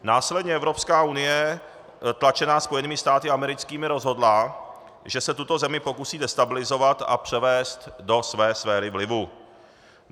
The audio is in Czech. Následně Evropská unie tlačená Spojenými státy americkými rozhodla, že se tuto zemi pokusí destabilizovat a převést do své sféry vlivu.